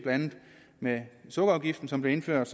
med sukkerafgiften som blev indført